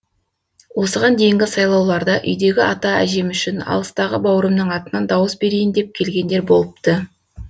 осыған дейінгі сайлауларда үйдегі ата әжем үшін алыстағы бауырымның атынан дауыс берейін деп келгендер болыпты